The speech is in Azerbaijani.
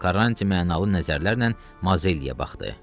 Karranti mənalı nəzərlərlə Mazelliyə baxdı.